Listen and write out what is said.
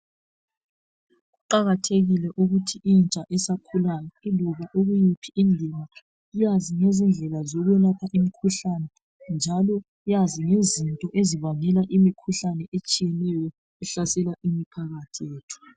Kuqakathekile ukuthi intsha esakhulayo yiloba ikuyiphi indima iyazi ngezindlela zokwelapha imikhuhlane njalo yazi ngezinto ezibangela imikhuhlane etshiyeneyo ehlasela imphakathi yethu.